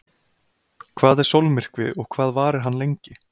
Hvað er sólmyrkvi og hvað varir hann lengi?.